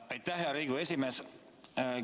Aitäh, hea Riigikogu esimees!